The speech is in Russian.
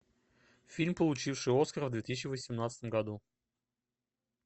фильм получивший оскара в две тысячи восемнадцатом году